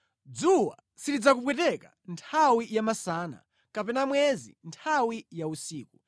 Dzuwa silidzakupweteka nthawi ya masana, kapena mwezi nthawi ya usiku.